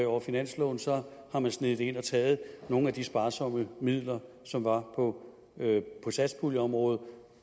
over finansloven så har man sneget det ind og taget nogle af de sparsomme midler som var på satspuljeområdet